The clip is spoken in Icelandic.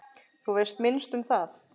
Þú veist minnst um það.